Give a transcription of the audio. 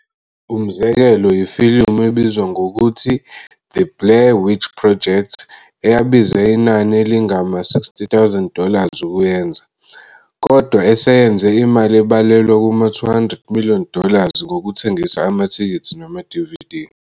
Umzekelo yifilimu ebizwa ngokuthi-The Blair Witch Project, eyabiza inani elingama 60,000 dollars ukuyenza, kodwa eseyenze imali ebalelwa kuma 200 million dollars ngokuthengisa amathikithi nama-DVD.